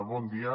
bon dia